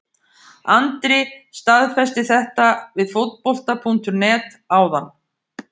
Andri staðfesti þetta við Fótbolta.net áðan.